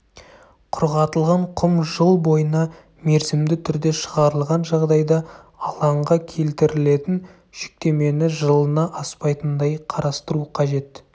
құрғатылған құм жыл бойына мерзімді түрде шығарылған жағдайда алаңға келтірілетін жүктемені жылына аспайтындай қарастыру қажет